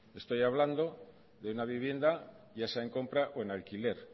estoy hablando de una vivienda ya sea en compra o en alquiler